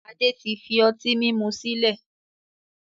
Adé tí fi ọtí mímu sílẹ̀